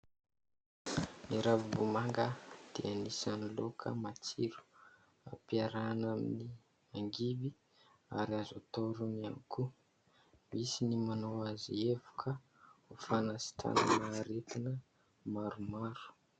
Ny ravim-bomanga dia anisany laoka matsiro, hampiarahana amin'ny angivy ary azo atao rony ihany koa, misy ny manao azy evoka ho fanasitranana aretina maromaro.